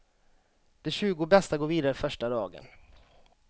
De tjugo bästa går vidare första dagen.